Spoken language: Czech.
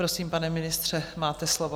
Prosím, pane ministře, máte slovo.